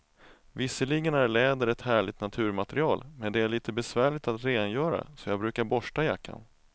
Visserligen är läder ett härligt naturmaterial, men det är lite besvärligt att rengöra, så jag brukar borsta jackan.